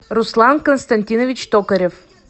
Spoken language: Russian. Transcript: руслан константинович токарев